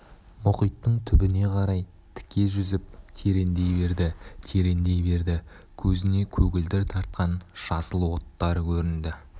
мұхиттың түбіне қарай тіке жүзіп тереңдей берді тереңдей берді көзіне көгілдір тартқан жасыл оттар көрінді